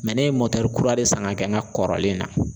ne ye mɔtɛri kura de san ka kɛ n ka kɔrɔlen na.